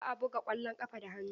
Ba a buga ƙwallon ƙafa da hannu.